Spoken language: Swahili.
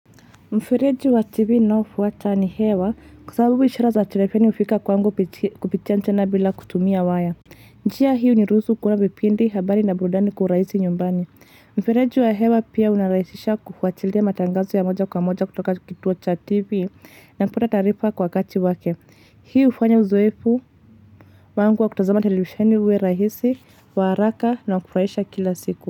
Mfereji wa tivi naofuata ni hewa kusabubu ishara za telefeni ufika kwa angu kupitia nchena bila kutumia waya. Njia hiyo ni rusu kuona vipindi habari na burudani kuurahisi nyumbani. Mfereji wa hewa pia unarahisisha kufuatia matangazo ya moja kwa moja kutoka kituo cha tivi na kupata tarifa kwa kati wake. Hii hufanya uzoefu wangu wa kutazama televisheni uwe rahisi, waraka na kufraisha kila siku.